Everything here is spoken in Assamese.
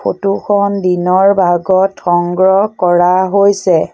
ফটো খন দিনৰ ভাগত সংগ্ৰহ কৰা হৈছে।